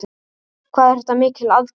Hvað er þetta mikil aðgerð?